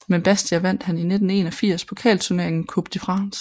Med Bastia vandt han i 1981 pokalturneringen Coupe de France